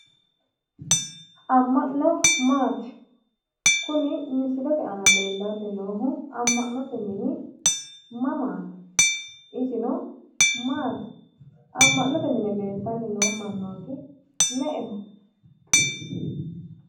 Amma'no maati? kuni misilete aana leellanni noohu amma'note mini mamaati? Isino maati amma'note leeltanni noo mannooti me'eho?